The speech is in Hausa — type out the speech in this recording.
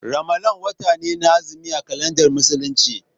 Ramalan wata ne na azumi a kalandar Musulunci.